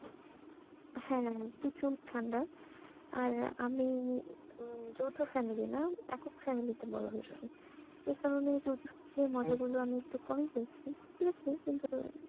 হ্যাঁ প্রচুর ঠান্ডা আর আমি উম যৌথো family না একক family তে বড়ো হয়েছি আচ্ছা এই কারণে আমি একটু কমই পেয়েছি